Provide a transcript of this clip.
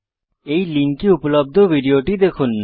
এই লিঙ্কে উপলব্ধ ভিডিওটি দেখুন